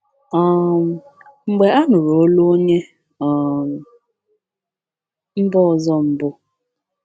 um Mgbe a nụrụ olu onye um mba ọzọ mbụ.